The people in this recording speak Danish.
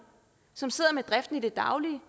som sidder med driften i det daglige